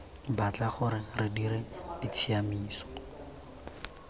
batla gore re dire ditshiamiso